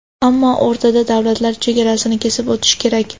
Ammo o‘rtada davlatlar chegarasini kesib o‘tish kerak.